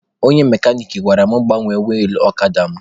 Onye mekanik gwara m gbanwee wilụ ọkada mụ